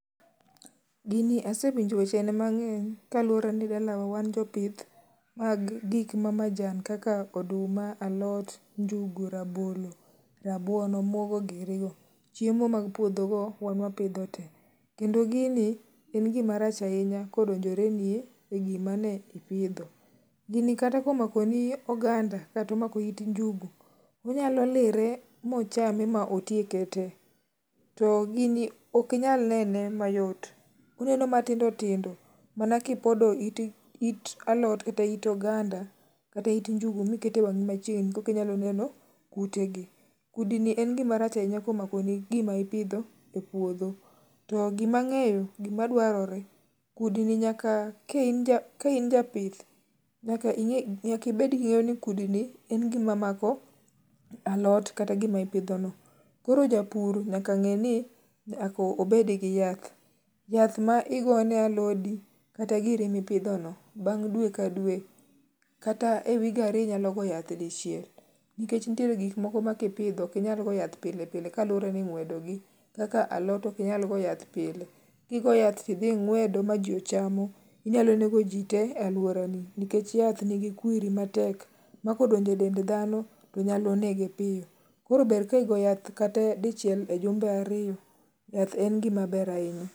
Gini asewinjo weche ne mang'eny kaluwore ni dalawa wan jopith mag kik ma majan kaka oduma, alot ,njugu ,rabolo, rabuon omuogo giri go, chiemo mag puodho go wan wapidho te ,kendo gini en gima rach ahinya kodonjore ni e gimane ipidhi, gini kata ka omako ni it oganda kata omako it njugu, onyalo lire mchame ma otieke te, to gini ok inyal nene mayot ,oneno matindo tindo mana kipodo it alot kata it oganda kata it njugu mikete wangi machiegni kore kinyalo neno kute gi ,kudni en gi a rach ahinya komako ni gima ipidho e puodhi, to gima ang'eyo gima dwarore.ka in japith nyaka ibed gi ng'eyo ni kudni en gima mako alot kata gima ipidho no koro japur nyaka ngeni nyaka obed gi yath, yath ma igone alodi kata giri mi pidhono bang dwe ka dwe kata e wige ariyo inyalo go yath dichiel nikech nitie gik moko maikipidho ok inyal go yath pile pile kaluwore ni ingwedo gi kaka alot ok inyal go yath pile, ki gogo ma idhi ingwedo ma ji ochamo inyalo nego ji te e aluora ni nikech yath ni gi kwiri matek mako donjo e dend dhano to nyalo nege mapiyo ,koro ber ka igo yath kata dichiel e jumbe ariyo ,yath en gima ber ahinya